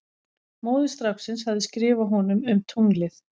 Móðir stráksins hafði skrifað honum um tunglið.